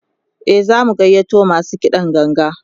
e zamu gayyato masu kiɗan ganga